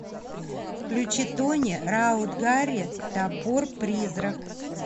включи тони раут гарри топор призрак